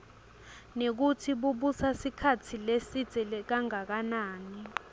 nekutsi bubusa sikhatsi lesidze kangakanani